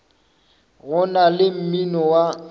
go na le mmino wa